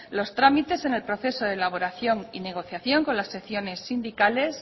los trámites en el proceso de elaboración y negociación con las secciones sindicales